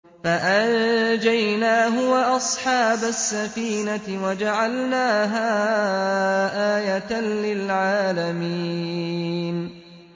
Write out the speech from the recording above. فَأَنجَيْنَاهُ وَأَصْحَابَ السَّفِينَةِ وَجَعَلْنَاهَا آيَةً لِّلْعَالَمِينَ